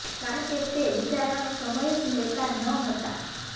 કારણ કે તે વિચારવાનો સમય જ લેતા ન હતા